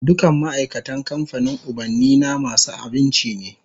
Dukan ma'aikatan kamfanin ubannina masu aminci ne